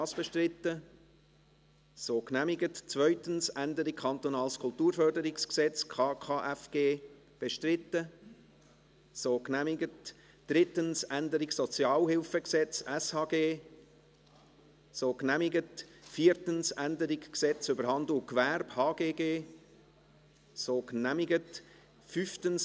Sie haben diesen Antrag auf Rückweisung von Artikel 58 in die Kommission abgelehnt, mit 79 Nein- gegen 64 Ja-Stimmen bei 2 Enthaltungen.